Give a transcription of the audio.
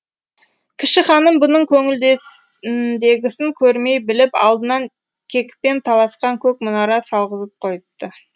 кіші ханым бұның көңілдесіндегісін көрмей біліп алдынан кекпен таласқан көк мұнара салғызып қойыпты